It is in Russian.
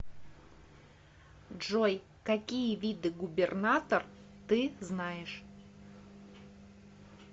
джой какие виды губернатор ты знаешь